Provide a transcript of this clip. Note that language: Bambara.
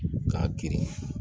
K'a girin